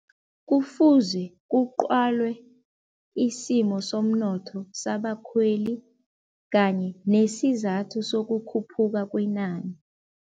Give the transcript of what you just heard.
Kufuze kuqwalwe isimo somnotho sabakhweli kanye nesizathu sokukhuphuka kwenani.